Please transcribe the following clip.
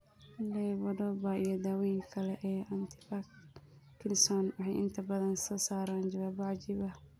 Levodopa iyo dawooyinka kale ee antiparkinson waxay inta badan soo saaraan jawaabo cajiib ah.